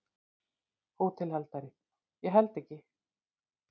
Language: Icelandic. HÓTELHALDARI: Ég held ekki.